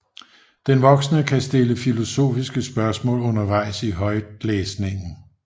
Den voksne kan stille filosofiske spørgsmål undervejs i højtlæsningen